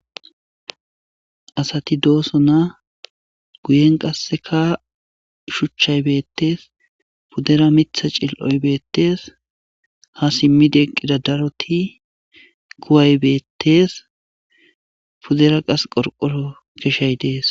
asati dooso na guyen qasseka shuchchay beettees puddera mitha cil7oybettees ha simmideqqida daroti kuway beettees pudera qas qorqoro keshay dees